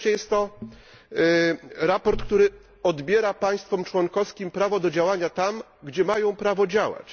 I wreszcie jest to sprawozdanie, które odbiera państwom członkowskim prawo do działania tam, gdzie mają prawo działać.